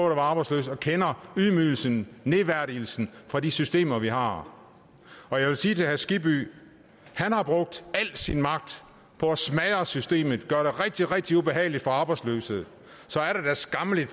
at være arbejdsløs og kender ydmygelsen nedværdigelsen fra de systemer vi har og jeg vil sige til herre skibby han har brugt al sin magt på at smadre systemet gøre det rigtig rigtig ubehageligt for de arbejdsløse så er det da skammeligt at